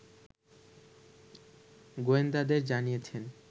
গোয়েন্দাদের জানিয়েছে